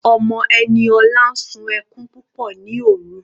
Ọmọ Eniola sún ẹkún púpọ̀ ní òrun.